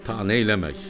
Ta neyləmək.